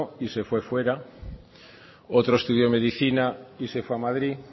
y vive fuera otro estudio medicina y se fue a madrid